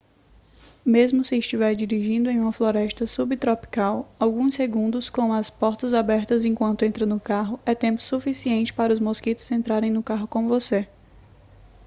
mesmo se estiver dirigindo em uma floresta subtropical alguns segundos com as portas abertas enquanto entra no carro é tempo suficiente para os mosquitos entrarem no carro com você